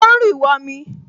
O ń rì wọmi